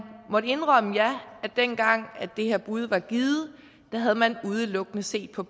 måtte indrømme at ja dengang det her bud blev givet havde man udelukkende set på